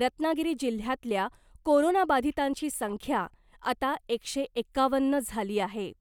रत्नागिरी जिल्ह्यातल्या कोरोनाबाधितांची संख्या आता एकशे एकावन्न झाली आहे .